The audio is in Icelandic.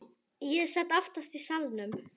Ég sat aftast í salnum.